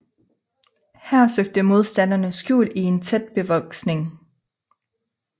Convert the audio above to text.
Her søgte modstanderne skjul i en tæt bevoksning